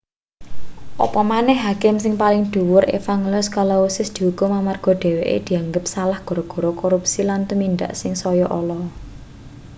apa maneh hakim sing paling dhuwur evangelous kalousis diukum amarga dheweke dianggep salah gara-gara korupsi lan tumindak sing saya ala